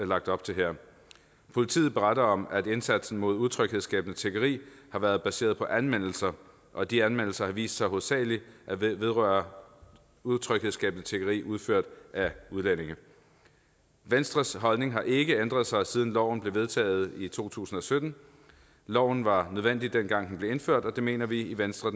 lagt op til her politiet beretter om at indsatsen mod utryghedsskabende tiggeri har været baseret på anmeldelser og de anmeldelser har vist sig hovedsagelig at vedrøre utryghedsskabende tiggeri udført af udlændinge venstres holdning har ikke ændret sig siden loven blev vedtaget i to tusind og sytten loven var nødvendig dengang den blev indført og det mener vi i venstre